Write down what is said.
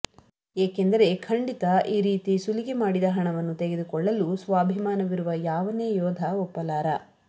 ಏಕೆಂದರೆ ಖಂಡಿತಾ ಈ ರೀತಿ ಸುಲಿಗೆ ಮಾಡಿದ ಹಣವನ್ನು ತೆಗೆದುಕೊಳ್ಳ ಲು ಸ್ವಾಭಿಮಾನವಿರುವ ಯಾವನೇ ಯೋಧ ಒಪ್ಪಲಾರ